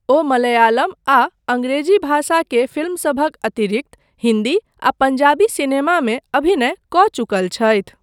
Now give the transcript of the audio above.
ओ मलयालम आ अंग्रेजी भाषा के फिल्मसभक अतिरिक्त हिन्दी आ पंजाबी सिनेमामे अभिनय कऽ चुकल छथि।